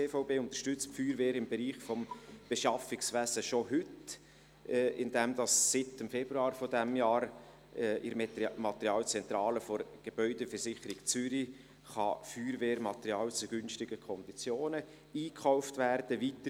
Die GVB unterstützt die Feuerwehr im Bereich des Beschaffungswesens schon heute, indem seit Februar dieses Jahrs in der Materialzentrale der GVZ Feuerwehrmaterial zu günstigen Konditionen eingekauft werden kann.